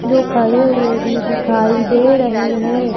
जो खड़े हुए भी दिखाई दे रहे हैं।